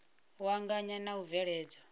u anganya na u bveledzwa